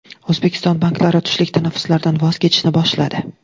O‘zbekiston banklari tushlik tanaffuslaridan voz kechishni boshladi.